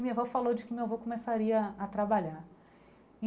E minha avó falou de que meu avô começaria a trabalhar.